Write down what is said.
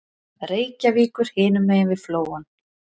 Reykjavíkur hinum megin við Flóann.